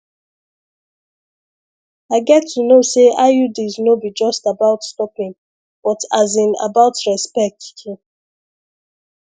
i get to know say iuds no be just about stopping but as in about respect too